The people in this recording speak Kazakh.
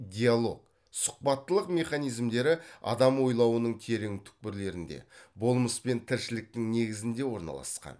диалог сұхбаттылық механизмдері адам ойлауының терең түкпірлерінде болмыс пен тіршіліктің негізінде орналасқан